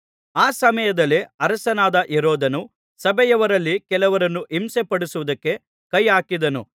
ಆ ಸಮಯದಲ್ಲೇ ಅರಸನಾದ ಹೆರೋದನು ಸಭೆಯವರಲ್ಲಿ ಕೆಲವರನ್ನು ಹಿಂಸೆಪಡಿಸುವುದಕ್ಕೆ ಕೈಹಾಕಿದನು